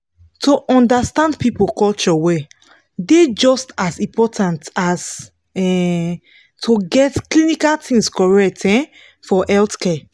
to understand people culture well dey just as important as um to get clinical things correct um for healthcare